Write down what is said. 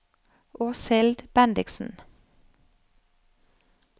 Åshild Bendiksen